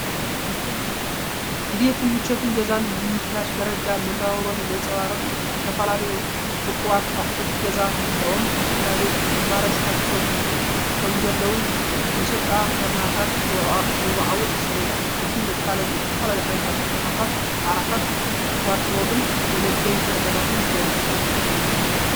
ድሌት ምቾት ገዛን ምምሕያሽ ደረጃ መነባብሮን ዘንጸባርቕ እዩ። ዝተፈላለዩ ውቁባት ኣቑሑት ገዛ ምህላዎም፡ ንስድራቤት ኣማራጺታት ከምዘለዉ ይሕብር። መሸጣ ፍርናሽ ዘወዓውዕ ሰሌዳ። እቲ መፋለጢ ዝተፈላለዩ ዓይነታት ሶፋታት፡ ዓራታት፡ ዋርድሮብን መመገቢ ጠረጴዛታትን የርኢ።